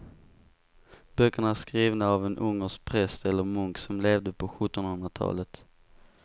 Böckerna är skrivna av en ungersk präst eller munk som levde på sjuttonhundratalet.